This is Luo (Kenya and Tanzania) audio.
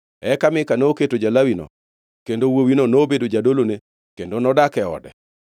Eka Mika noketo ja-Lawino kendo wuowino nobedo jadolone kendo nodak e ode.